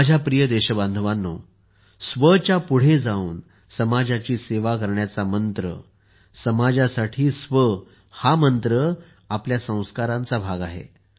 माझ्या प्रिय देशबांधवांनो स्व च्या पुढे जाऊन समाजाची सेवा करण्याचा मंत्र समाजासाठी स्व हा मंत्र आपल्या संस्कारांचा भाग आहे